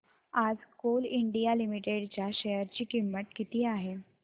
आज Coal India Limited च्या share ची किंमत किती आहे